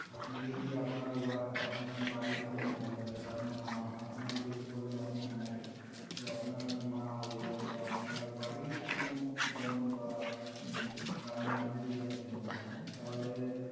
আপনি যদি, আপনার উয়া~আপনার বাড়ির কোন মহিলা সেটা আপনার মা হোন, আপনার যেহেতু বললেন আপনি unmarried তো আপনার মা হল বা আপনার বাড়ির কোন বোন বা দিদি কারোর নামে যদি আপনি loan টা নেন তাহলে,